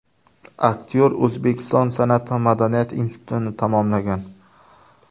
Aktyor O‘zbekiston san’at va madaniyat institutini tamomlagan.